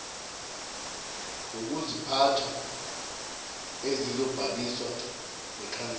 ngokuziphatha ezizobhaliswa nekhansela